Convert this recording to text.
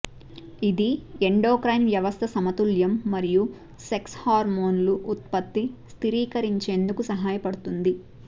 ఇది ఎండోక్రైన్ వ్యవస్థ సమతుల్యం మరియు సెక్స్ హార్మోన్లు ఉత్పత్తి స్థిరీకరించేందుకు సహాయపడుతుంది